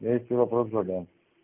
я ещё вопрос задам